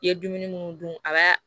I ye dumuni mun dun a b'a